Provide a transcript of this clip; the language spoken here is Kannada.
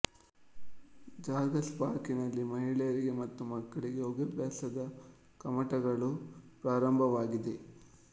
ಜಾಗರ್ಸ್ ಪಾರ್ಕ್ ನಲ್ಲಿ ಮಹಿಳೆಯರಿಗೆ ಮತ್ತು ಮಕ್ಕಳಿಗೆ ಯೋಗಾಭ್ಯಾಸದ ಕಮ್ಮಟಗಳು ಪ್ರಾರಂಭವಾಗಿವೆ